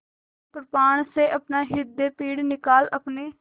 वह कृपाण से अपना हृदयपिंड निकाल अपने